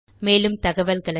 மேலும் தகவல்களுக்கு